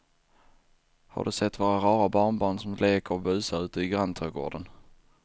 Har du sett våra rara barnbarn som leker och busar ute i grannträdgården!